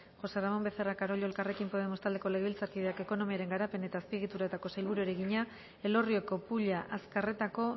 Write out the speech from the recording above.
josé ramón becerra carollo elkarrekin podemos taldeko legebiltzarkideak ekonomiaren garapen eta azpiegituretako sailburuari egina elorrioko pulla azkarretako